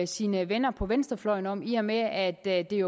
sine venner på venstrefløjen om i og med at det